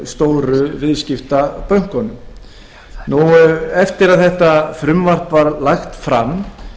stóru viðskiptabönkunum eftir að frumvarpið var lagt fram